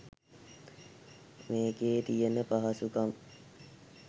මේකේ තියන පහසුකම්